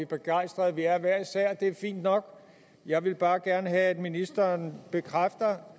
begejstrede vi er hver især og det er fint nok jeg vil bare gerne have at ministeren bekræfter